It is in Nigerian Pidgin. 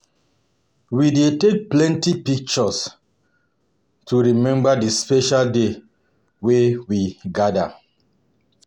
We dey take plenty pictures to remember the special day wey we gather.